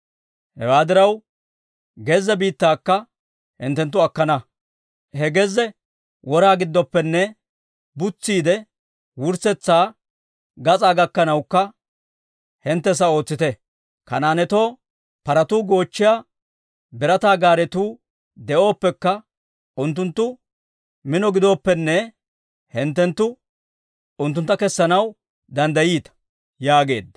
Hewaa diraw gezze biittaakka hinttenttu akkana. He gezze wora gidooppenne butsiidde wurssetsaa gas'aa gakkanawukka hinttessa ootsite. Kanaanetoo paratuu goochchiyaa birataa gaaretuu de'oppekka, unttunttu mino gidooppenne, hinttenttu unttuntta kessanaw danddayiita» yaageedda.